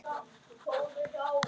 Blessuð sé minning elsku Magneu.